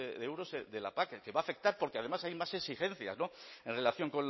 de euros de la pac que va a afectar porque además hay más exigencias en relación